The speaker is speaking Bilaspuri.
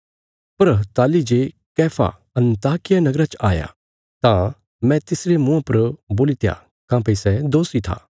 पर ताहली जे कैफा अन्ताकिया नगरा च आया तां मैं तिसरे मुँआ पर बोलित्या काँह्भई सै दोषी था